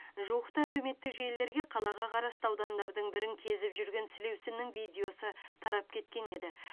жуықта әлеуметтік желілерге қалаға қарасты аудандардың бірін кезіп жүрген сілеусіннің видеосы тарап кеткен еді